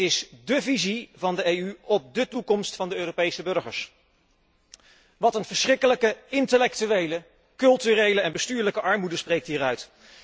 Dit is dus dé visie van de EU op dé toekomst van de Europese burgers. Wat een verschrikkelijke intellectuele, culturele en bestuurlijke armoede spreekt hieruit!